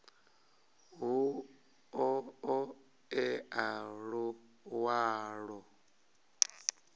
hu ḓo ṱo ḓea luṅwalo